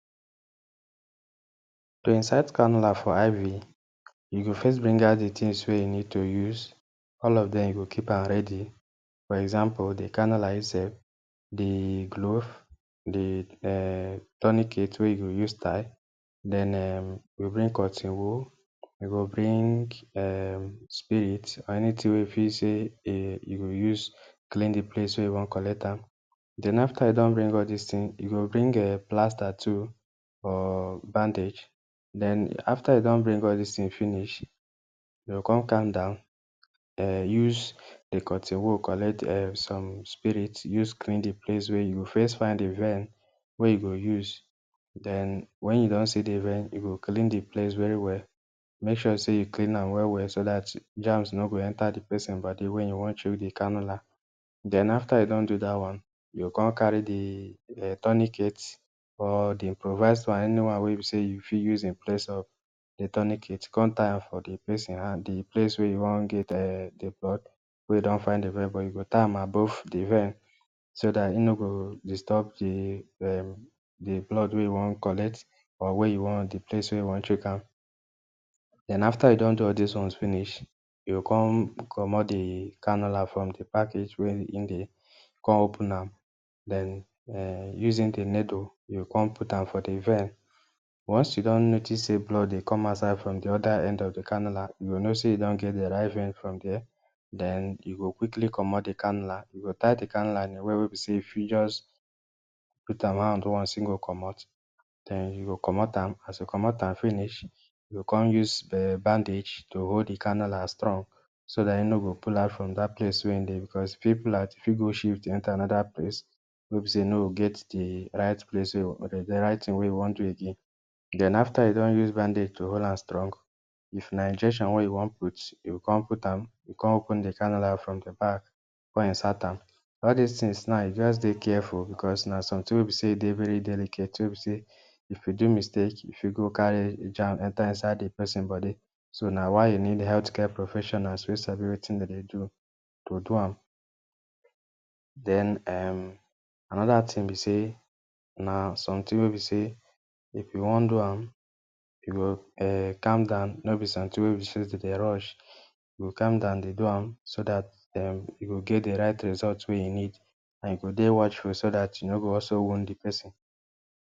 To insert cannula for IV, you go first bring out di tins wey you need to use, all of dem, you go keep am ready. For example, di canular itself, di glove, di um tourniquet wey you go use tie, den um, you bring cotton wool, you go bring um, spirit, or anytin wey you feel sey um you go use clean di place wey you wan collect am. Den, after you don bring all dis tin, you go bring um plaster too or bandage. Den, after you don bring all dis tin finish, you go kon calm down, um use di cotton wool collect um some spirit use clean di place wey you first find di vein wey you go use, den wen you don see di vein, you go clean di place very well. Make sure sey you clean am well well so dat germs no go enter di person body wey you wan chook di cannula. Den, after you don do dat one, you go kon carry di um tourniquet or di improvise one, anyone wey be sey you fit use in place of di tourniquet, kon tie am for di person hand, di place wey you wan get um di blood, wey you don find di vein, you go tie am above di vein, so dat e no go disturb di um di blood wey you wan collect or wey you wan, di place wey you wan chook am. Den, after you don do all dis ones finish, you go kon comot di cannula from di package wey hin dey, den come open am den um using di needle, you go kon put am for di vein. Once you don notice sey blood dey come out side from di oda end of di cannula, you go know say e don get di right vein from dier, den you go quickly comot di cannula, you go tie di cannula in a way wey be sey you fit just put am hand once e go comot. Den, you go comot am, as you comot am finish you go kon use um bandage to hold di cannula strong so dat e no go pull out from dat place wey im de, because, if im pull out e fit go shift enter anoda place wey be sey e no go get di right place wey di right tin wey e wan do again. Den, after you don use bandage to hold am strong, if na injection wey you wan put, you go kon put am kon open di cannula from di back, kon insert am. All dis tins now, just dey careful, because, na sometin wey be sey dey very delicate, wey be sey if you do mistake, you fit go carry germs enter inside di person body. So, na why you need health care professionals wey sabi wetin den dey do, to do am. Den, um anoda tin be sey na sometin wey be sey if you wan do am, you go um calm down, no be sometin wey be sey den dey rush, you go calm down dey do am, so dat um you go get di right result wey you need and you go dey watchful so dat you no go also wound di person.